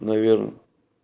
наверное